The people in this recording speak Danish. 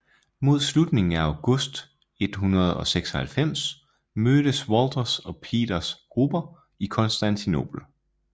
Mod slutningen af august 1096 mødtes Walthers og Peters grupper i Konstantinopel